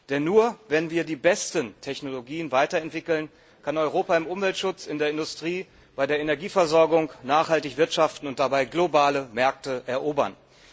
Denn nur, wenn wir die besten Technologien weiterentwickeln, kann Europa im Umweltschutz, in der Industrie, bei der Energieversorgung nachhaltig wirtschaften und dabei globale Märkte erobern.